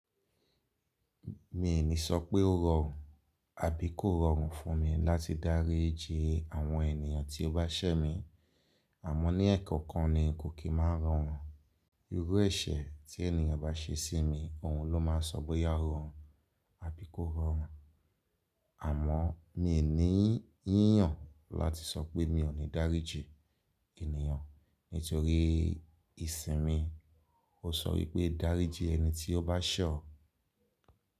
Mi i ní sọ pé ó rọrùn àbí kó rọrùn fún mi láti dáríji àwọn ènìyàn tí ó bá ṣẹ́ mi, àmọ́ ní ẹ̀ẹ̀kan kan ni kò kí máa n rọrùn. Irú ẹ̀ṣẹ̀ tí ènìyàn bá ṣe sí mi, òhun ló máa sọ bóyá o rọrùn àbí kó rọrùn. Àmọ́ mi i ní yíyan láti sọ pé mi ò ní dáríji ènìyàn nítorí ìsinmi. Ó sọ wípé dáríji ẹni tí ó bá ṣe o.